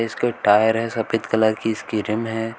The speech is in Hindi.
इसके टायर है सफेद कलर इसकी रिम है।